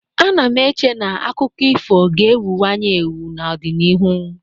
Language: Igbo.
Ana m eche na akụkọ ifo ga-ewuwanye ewu n'ọdịnihu.